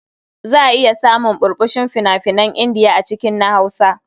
Za a iya samun ɓurɓushin fina-finan Indiya a cikin na Hausa.